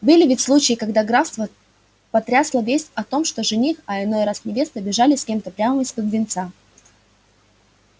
были ведь случаи когда графство потрясла весть о том что жених а иной раз невеста бежали с кем-то прямо из-под венца